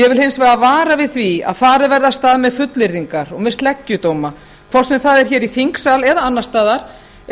ég vil hins vegar vara við því að farið verði af stað með fullyrðingar og með sleggjudóma hvort sem það er hér í þingsal eða annars staðar